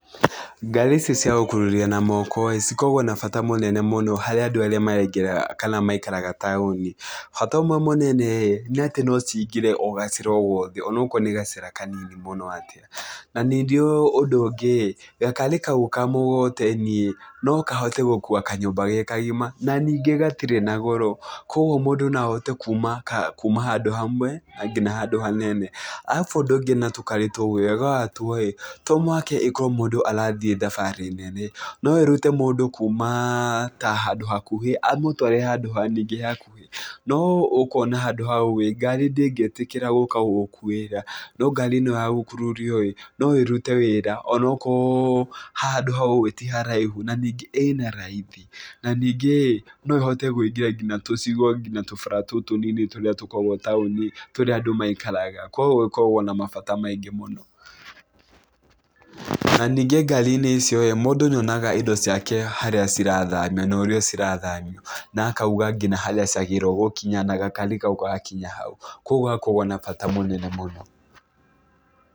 Ngari icio cia gũkururia na moko ĩĩ, cikoragwo na bata mũnene mũno harĩ andũ arĩa maraingĩra kana maikaraga taũni. Bata ũmwe mũnene ĩĩ nĩ atĩ no ciingĩre o gacĩra o gothe. Onokorwo nĩ gacĩra kanini mũno atĩa. Na ningĩ ũndũ ũngĩ ĩĩ, gakari kau kamũgogoteni ĩĩ, no kahote gũkuua kanyũmba ge kagima. Na ningĩ gatirĩ na goro. Kũguo mũndũ no ahote kuuma handũ hamwe, nginya handũ hanene. Arabu ũndũ ũngĩ na tũkari tũu ĩĩ, wega wa tuo ĩĩ, ta mũhaka ĩkorwo mũndũ arathiĩ thabarĩ nene, no ĩrute mũndũ kuuma ta handũ hakuhĩ amũtware handũ ningĩ hakuhĩ. No ũkuona handũ hau ĩĩ, ngari ndĩngĩtĩkĩra gũka gũgũkuĩra. No ngarĩ ĩno ya gũkururio ĩĩ, no ĩrute wĩra onokorwo handũ hau ĩĩ, ti haraihu. Na ningĩ ĩna raithi. Na ningĩ ĩĩ, no ĩhote kũingĩra nginya tũcigo, nginya tũbara tũu tũnini tũrĩa tũkoragwo taũni-inĩ tũrĩa andũ mairagaka. Kũguo ĩkoragwo na mabata maingĩ mũno. Na ningĩ ngari-inĩ icio ĩĩ, mũndũ nĩ onaga indo ciake harĩa cirathamio, na ũrĩa cirathamio, na akauga nginya harĩa ciagĩrĩrwo gũkinya na gakari kau gagakinya hau. Kũguo gakoragwo na bata mũnene mũno.